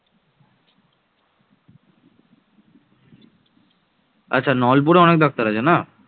অষ্টম শতকের শুরু থেকে উনবিংশ শতাব্দীর মধ্যভাগ পর্যন্ত ভারতীয় উপমহাদেশে মুসলিম শাসন টিকে ছিলো